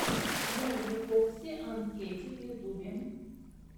музыка фокси анд кэтти в ютубе